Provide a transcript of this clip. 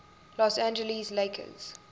los angeles lakers